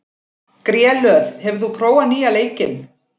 Grélöð, hefur þú prófað nýja leikinn?